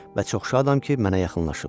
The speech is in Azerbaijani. Və çox şadam ki, mənə yaxınlaşıb.